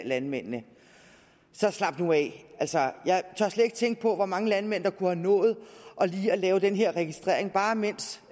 landmændene så slap nu af altså jeg tør slet ikke tænke på hvor mange landmænd der kunne have nået lige at lave den her registrering bare mens